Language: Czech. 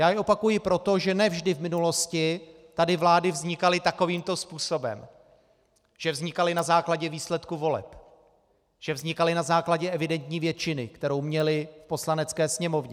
Já je opakuji proto, že ne vždy v minulosti tady vlády vznikaly takovýmto způsobem, že vznikaly na základě výsledků voleb, že vznikaly na základě evidentní většiny, kterou měly v Poslanecké sněmovně.